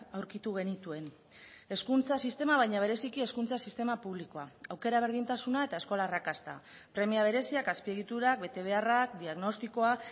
aurkitu genituen hezkuntza sistema baina bereziki hezkuntza sistema publikoa aukera berdintasuna eta eskola arrakasta premia bereziak azpiegiturak betebeharrak diagnostikoa